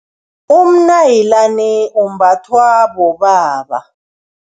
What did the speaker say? Umnayilani umbathwa bobaba.